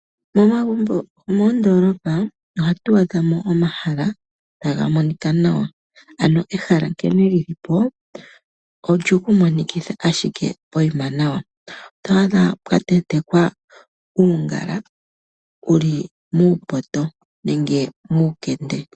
Momagumbo gomoondolopa ohatu adha mo omahala taga monika nawa. Ehala nkene lilipo olyoku monikitha ashike pokuma nawa. Oto adha pwatentekwa uungala wuli muupoto nenge muukende.